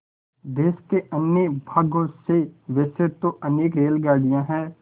देश के अन्य भागों से वैसे तो अनेक रेलगाड़ियाँ हैं